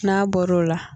N'a bɔr'o la